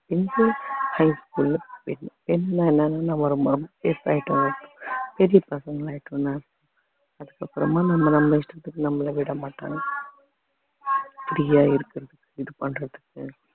pencil high school அ pen பெரிய பசங்களாயிட்டோம்ல அதுக்கு அப்பறமா நம்ம நம்ம இஷ்டத்துக்கு நம்மளை விடமாட்டாங்க free யா இருக்கிறதுக்கு இது பண்றதுக்கு